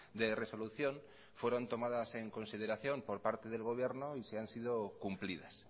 de resolución fueron tomadas en consideración por parte del gobierno y si han sido cumplidas